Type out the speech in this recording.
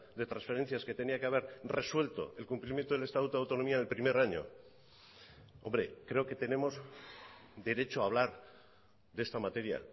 de transferencias que tenía que haber resuelto el cumplimiento del estatuto de autonomía del primer año hombre creo que tenemos derecho a hablar de esta materia